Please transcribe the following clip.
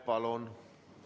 Palun!